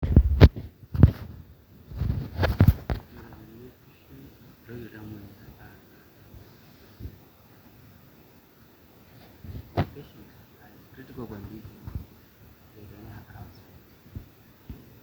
Ore tenerishu oleng meitoki iltamoyia aata irbulabol